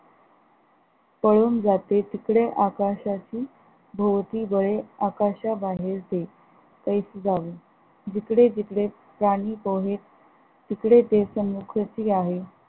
पळून जाते तिकडे आकाशाची भोवती बळे आकाशा बाहेरचे ऐसे जाऊ जिकडे तिकडे गाणी पोहे तिकडे ते समुखसी आहे.